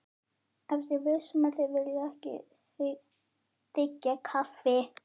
Ertu viss um að þið viljið ekki þiggja kaffi?